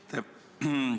Aitäh!